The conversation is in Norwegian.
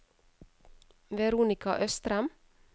Veronika Østrem